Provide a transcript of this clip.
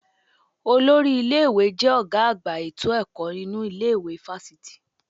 Olórí ilé-ìwé jẹ́ ọ̀gá àgbà ètò ẹ̀kọ́ nínu ilé ìwé fáfitì.